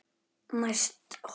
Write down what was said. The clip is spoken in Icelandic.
Næst holu